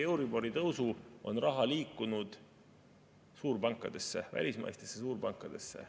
Euribori tõusu kaudu on raha liikunud suurpankadesse, välismaistesse suurpankadesse.